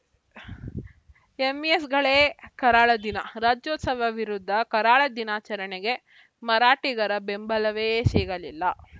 ಎಂಇಎಸ್‌ಗಳೇ ಕರಾಳ ದಿನ ರಾಜ್ಯೋತ್ಸವ ವಿರುದ್ಧ ಕರಾಳ ದಿನಾಚರಣೆಗೆ ಮರಾಠಿಗರ ಬೆಂಬಲವೇ ಸಿಗಲಿಲ್ಲ